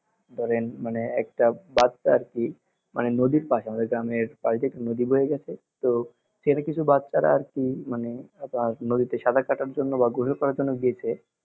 ধরেন মানে একটা বাচ্চা আর কি মানে নদীর পশে আমাদের গ্রামের পাশ দিয়ে একটা নদী বয়ে গেছে তো সেখানে কিছু বাচ্ছারা আর কি মানে আপনার নদীতে সাঁতার কাটার জন্য বা গোসল করার জন্য গিয়েছে